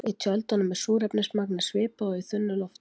Í tjöldunum er súrefnismagnið svipað og í þunnu lofti.